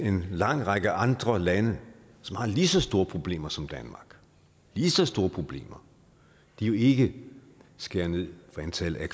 en lang række andre lande som har lige så store problemer som danmark lige så store problemer jo ikke skærer ned på antallet